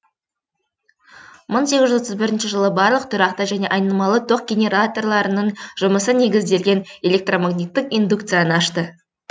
мың сегіз жүз отыз бірінші жылы барлық тұрақты және айнымалы ток генераторларының жұмысы негізделген электромагниттік индукцияны ашты